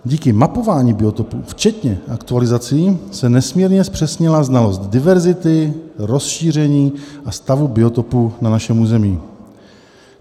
Díky mapování biotopů včetně aktualizací se nesmírně zpřesnila znalost diverzity, rozšíření a stavu biotopů na našem území.